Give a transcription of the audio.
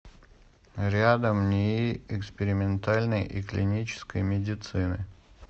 рядом нии экспериментальной и клинической медицины